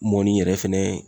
Mɔni yɛrɛ fɛnɛ